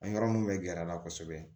An yɔrɔ min bɛ gɛr'an na kosɛbɛ